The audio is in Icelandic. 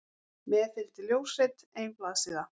Með fylgdi ljósrit, ein blaðsíða.